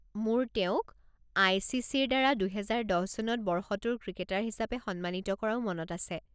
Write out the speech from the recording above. মোৰ তেওঁক আই.চি.চি.ৰ দ্বাৰা দুহেজাৰ দহ চনত 'বৰ্ষটোৰ ক্ৰিকেটাৰ' হিচাপে সন্মানিত কৰাও মনত আছে।